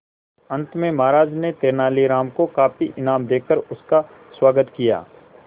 अंत में महाराज ने तेनालीराम को काफी इनाम देकर उसका स्वागत किया